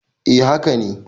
E, haka ne.